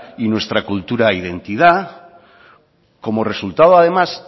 y nuestra cultura identidad como resultado además